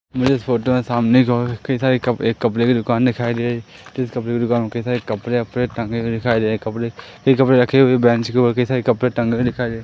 मुझे इस फोटो में सामने की ओर कई सारे कपड़े एक कपड़े की दुकान दिखाई दे रही हैं जिस कपड़े की दुकान पे कई सारे कपड़े वपड़े टंगे हुए दिखाई दे रहे हैं कपड़े फिर कपड़े रखे हुए बैंच पर कई सारे कपड़े टंगे हुए दिखाई दे--